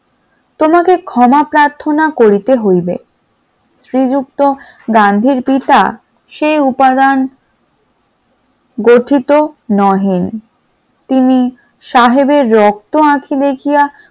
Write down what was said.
তোমাকে ক্ষমা প্রার্থনা করিতে হইবে, শ্রীযুক্ত গান্ধীর পিতা সে উপাদান গঠিত নহে । তিনি সাহেবের রক্ত আঁখি দেখিয়া